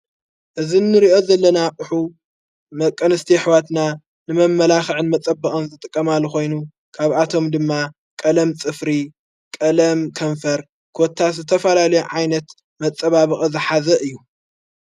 እዝ ንርእኦ ዘለናቕሑ ደቀንስቲ ኣኅዋትና ንመመላኽዕን መጸበቐን ዘተቀማል ኾይኑ ካብ ኣቶም ድማ ቀለም ጽፍሪ ቀለም ከንፈር ኰታ ስተፋላሉ ዓይነት መጸባብቕዘሓዘእ እዩ።